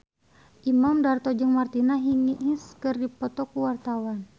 Imam Darto jeung Martina Hingis keur dipoto ku wartawan